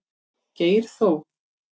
Geir Þór.